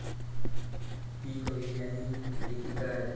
ती कवी आणि लेखिका आहे.